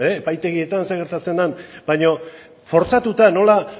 epaitegietan zer gertatzen den baina fortzatuta nola